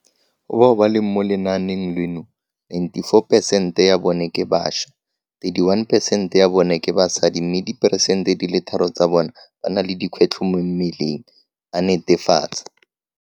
Go bao ba leng mo lenaenong leno, 94 percent ya bone ke bašwa, 31percent ya bone ke basadi mme diperesente di le tharo tsa bone ba na le dikgwetlho mo mmeleng, a netefatsa.